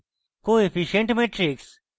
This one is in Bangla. coefficient matrix